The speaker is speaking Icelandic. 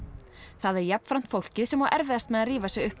það er jafnframt fólkið sem á erfiðast með að rífa sig upp